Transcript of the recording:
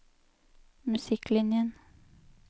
musikklinjen